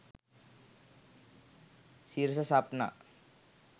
sirasa sapna